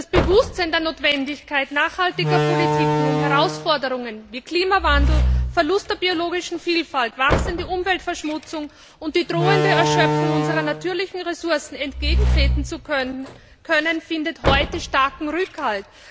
Das Bewusstsein der Notwendigkeit nachhaltiger Politiken, um Herausforderungen wie Klimawandel, Verlust der biologischen Vielfalt, wachsender Umweltverschmutzung und der drohenden Erschöpfung unserer natürlichen Ressourcen entgegentreten zu können, findet heute starken Rückhalt.